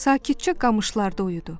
Sakitcə qamışlarda uyudu.